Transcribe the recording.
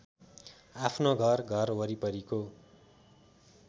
आफ्नो घर घरवरिपरिको